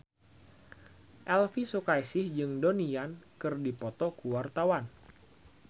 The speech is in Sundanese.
Elvy Sukaesih jeung Donnie Yan keur dipoto ku wartawan